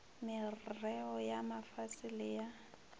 merreo ya mafase le ya